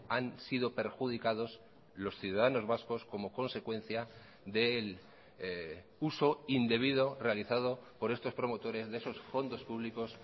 han sido perjudicados los ciudadanos vascos como consecuencia del uso indebido realizado por estos promotores de esos fondos públicos